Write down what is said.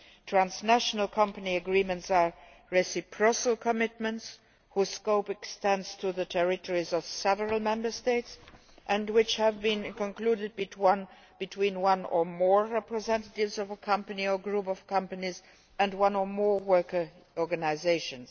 Transnational company agreements are reciprocal commitments whose scope extends to the territories of several Member States and which have been concluded between one or more representatives of a company or group of companies and one or more workers' organisations.